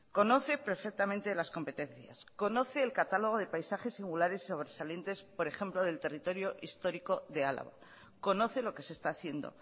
conoce perfectamente las competencias conoce el catálogo de paisajes singulares sobresalientes por ejemplo del territorio histórico de álava conoce lo que se está haciendo